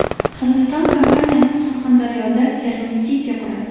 Hindiston kompaniyasi Surxondaryoda Termiz City quradi .